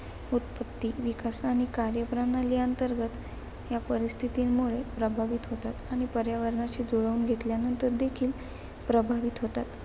उत्पत्ती, विकास आणि कार्यप्रणाली अंतर्गत या परिस्थितीमुळे प्रभावित होतात आणि पर्यावरणाशी जुळवून घेतल्यानंतर देखील प्रभावित होतात.